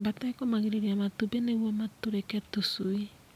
Mbata ĩkomagĩrĩria matumbi nĩguo matũrĩke tũcui.